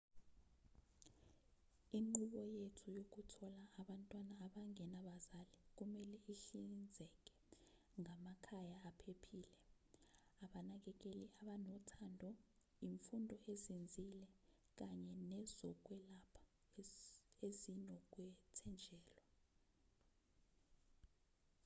inqubo yethu yokuthola abantwana abangenabazali kumelwe ihlinzeke ngamakhaya aphephile abanakekeli abanothando imfundo ezinzile kanye nezokwelapha ezinokwethenjelwa